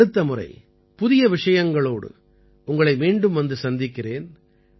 அடுத்த முறை புதிய விஷயங்களோடு உங்களை மீண்டும் வந்து சந்திக்கிறேன்